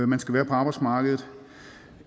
man skal være på arbejdsmarkedet